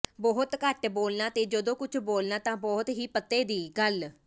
ਬਹੁਤ ਘੱਟ ਬੋਲਣਾ ਤੇ ਜਦੋਂ ਕੁਝ ਬੋਲਣਾ ਤਾਂ ਬਹੁਤ ਹੀ ਪਤੇ ਦੀ ਗੱਲ